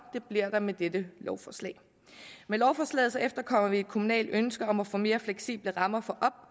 det bliver der med dette lovforslag med lovforslaget efterkommer vi et kommunalt ønske om at få mere fleksible rammer for